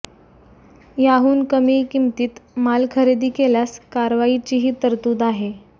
याहून कमी किमतीत माल खरेदी केल्यास कारवाईचीही तरतूद आहे